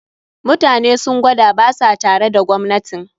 Mutanen sun gwada ba sa tare da gwamnatin